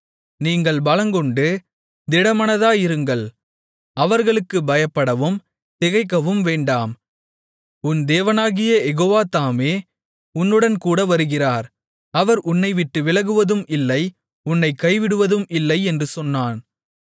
நீங்கள் பலங்கொண்டு திடமானதாயிருங்கள் அவர்களுக்குப் பயப்படவும் திகைக்கவும் வேண்டாம் உன் தேவனாகிய யெகோவா தாமே உன்னுடன்கூட வருகிறார் அவர் உன்னைவிட்டு விலகுவதும் இல்லை உன்னைக் கைவிடுவதும் இல்லை என்று சொன்னான்